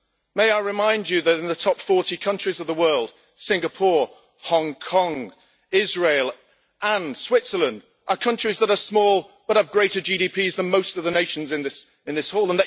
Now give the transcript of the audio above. May I remind you that, in the top 40 countries of the world, Singapore, Hong Kong, Israel and Switzerland are countries that are small but have larger GDPs than most of the nations represented in this House?